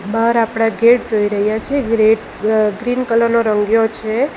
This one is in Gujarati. બહાર આપણે ગેટ જોઈ રહ્યા છે ગ્રેટ અહહ ગ્રીન કલર નો રંગ્યો છે.